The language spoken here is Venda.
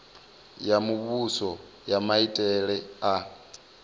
ya muvhuso ya maitele a